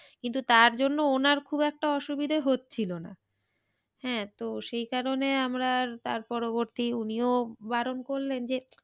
কিন্তু তার জন্য ওনার খুব একটা অসুবিধা হচ্ছিলো না। হ্যাঁ তো সেই কারণে আমরা আর তার পরবর্তী উনিও বারণ করলেন যে,